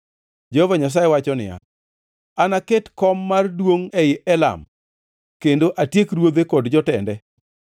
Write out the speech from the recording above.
Jehova Nyasaye wacho niya, “Anaket koma mar duongʼ ei Elam, kendo atiek ruodhe kod jotende.”